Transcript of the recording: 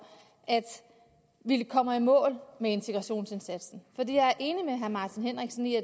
at vi kommer i mål med integrationsindsatsen fordi jeg er enig med herre martin henriksen i at